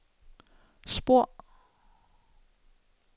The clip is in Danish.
spor